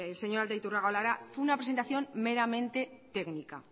señor aldaiturriaga lo hará fue una presentación meramente técnica